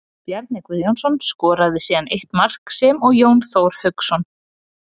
Bjarni Guðjónsson skoraði síðan eitt mark sem og Jón Þór Hauksson.